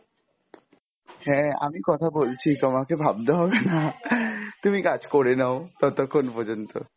কাটবে না কাটবে না phone টা, কথা বলতে হবে না তুমি রাখো। কাটবে না, hello! হ্যাঁ আমি কথা বলছি তোমাকে ভাবতে হবে না। তুমি কাজ করে নাও ততক্ষণ পর্যন্ত।